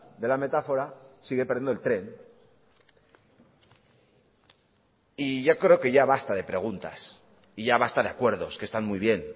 de la metáfora sigue perdiendo el tren yo ya creo que ya basta de preguntas y ya basta de acuerdos que están muy bien